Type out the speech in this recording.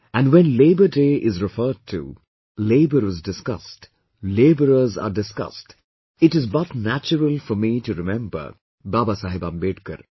And when 'Labour Day' is referred to, labour is discussed, labourers are discussed, it is but natural for me to remember Babasaheb Ambedkar